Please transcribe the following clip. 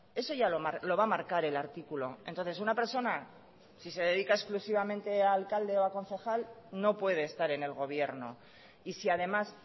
eso ya lo va a marcar el artículo entonces una persona si se dedica exclusivamente a alcalde o a concejal no puede estar en el gobierno y si además